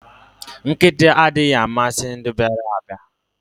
Nkịta anaghị amasị ndị bịara abịa